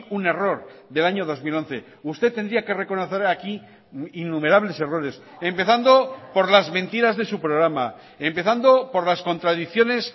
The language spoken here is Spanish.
un error del año dos mil once usted tendría que reconocer aquí innumerables errores empezando por las mentiras de su programa empezando por las contradicciones